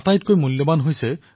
তেওঁ সেৱাক সৰ্বতোপৰি স্থান দিছিল